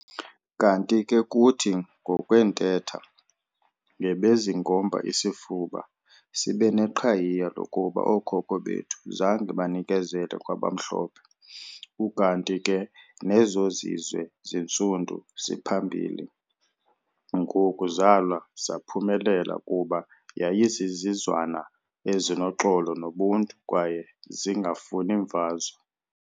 Kanti ke kuthi ngokwentetha, "ngebezingomba isifuba sibeneqhayiya lokuba ooKhokho bethu zange banikezele kwabamhlophe ukanti ke nezozizwe zintsundu ziphambili ngoku zalwa zaphumelela kuba yayizizizwana ezinoxolo nobuntu kwaye zingafuni mfazwe".